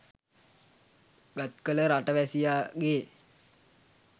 ගත් කළ රට වැසියාගේ